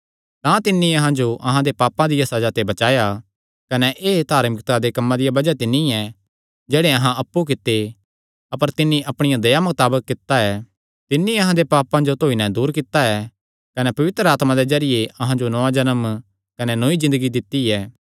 तां तिन्नी अहां जो अहां दे पापां दिया सज़ा ते बचाया कने एह़ धार्मिकता दे कम्मां दिया बज़ाह ते नीं ऐ जेह्ड़े अहां अप्पु कित्ते अपर तिन्नी अपणिया दया मताबक कित्ता ऐ तिन्नी अहां दे पापां जो धोई नैं दूर कित्ता ऐ कने पवित्र आत्मा दे जरिये अहां जो नौआं जन्म कने नौई ज़िन्दगी दित्ती ऐ